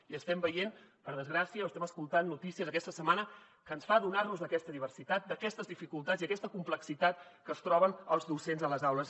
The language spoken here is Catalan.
i estem veient per desgràcia o estem escoltant notícies aquesta setmana que ens fan adonar nos d’aquesta diversitat d’aquestes dificultats i d’aquesta complexitat que es troben els docents a les aules